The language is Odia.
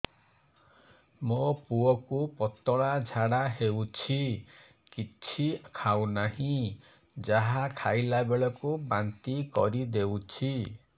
ମୋ ପୁଅ କୁ ପତଳା ଝାଡ଼ା ହେଉଛି କିଛି ଖାଉ ନାହିଁ ଯାହା ଖାଇଲାବେଳକୁ ବାନ୍ତି କରି ଦେଉଛି